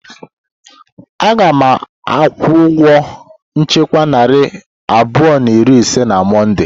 Aga m akwụ ụgwọ nchekwa narị abụọ na iri ise na Mọnde.